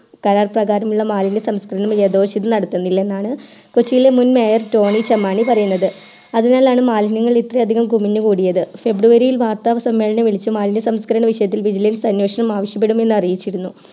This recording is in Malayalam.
കരാർ പ്രകാരമുള്ള മാലിന്യ സംസ്കരണങ്ങൾ ഏതാശുദ്ധി നടത്തുന്നില്ല എന്നാണ് കൊച്ചിയെ മുൻ mayor ടോണി ചെമ്മണി പറയുന്നത് അതിനാലാണ് മാലിന്യങ്ങൾ ഇത്ര അധികം കുമിഞ്ഞു കൂടിയത് february യിൽ വാർത്ത സസമ്മേളനം വിളിച്ചു മാലിന്യ സംസ്കരണ വിഷയത്തിൽ vigilance അനേഷണം ആവിശ്യപെടുമെന്നു അറിയിച്ചിരുന്നു